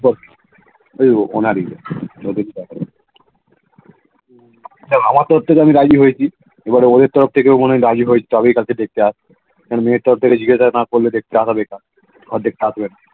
ওনারই আমার তো তোর থেকে রাজি হয়েছি এবার উনি তোর থেকেও মনে হয় রাজি হয়েছে কারণ মেয়ে তোর থেকে জিজ্ঞেস না গেলে জগাবে কে